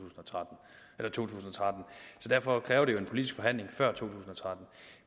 tusind og tretten så derfor kræver det jo en politisk forhandling før to tusind og tretten